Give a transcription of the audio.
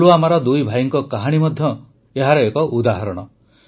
ପୁଲୱାମାର ଦୁଇଭାଇଙ୍କ କାହାଣୀ ମଧ୍ୟ ଏହାର ଏକ ଉଦାହରଣ